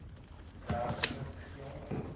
der smit g